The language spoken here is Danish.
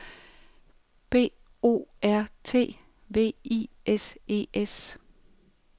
B O R T V I S E S